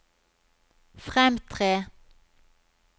fremtre